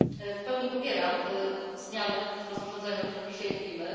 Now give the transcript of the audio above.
W pełni popieram zmiany w rozporządzeniu, o którym dzisiaj mówimy.